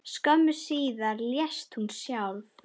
Skömmu síðar lést hún sjálf.